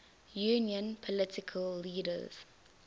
union political leaders